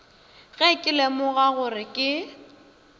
ge ke lemoga gore ke